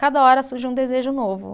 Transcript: Cada hora surge um desejo novo.